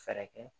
Fɛɛrɛ kɛ